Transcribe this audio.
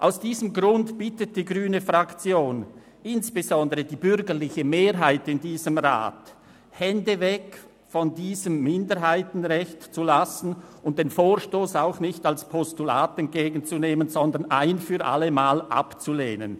Aus diesem Grund bittet die grüne Fraktion insbesondere die bürgerliche Mehrheit in diesem Rat, die Hände von diesem Minderheitenrecht zu lassen und den Vorstoss auch nicht als Postulat entgegenzunehmen, sondern diesen ein für alle Mal abzulehnen.